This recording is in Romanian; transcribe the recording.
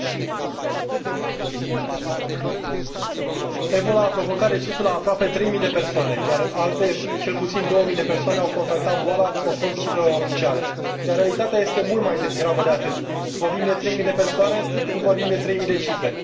Domnule președinte, Ebola a provocat decesul a aproape trei mii de persoane, iar alte cel puțin două mii de persoane au contactat boala, conform cifrelor oficiale. Iar realitatea este mult mai gravă de atât vorbim de trei mii de persoane, nu vorbim de trei mii de cifre.